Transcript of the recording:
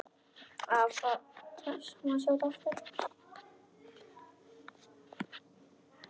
Hvaða rugl var þetta nú?